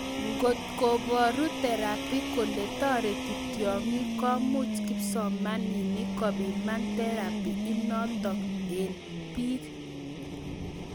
Ngot koboru therapy kole toreti tyong'ik , komuch kipsomaninik kopiman therappy inotok en biik